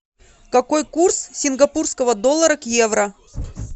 какой курс сингапурского доллара к евро